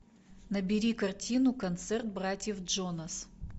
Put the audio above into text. набери картину концерт братьев джонас